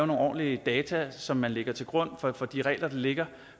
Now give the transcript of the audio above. nogle ordentlige data som man lægger til grund for de regler der ligger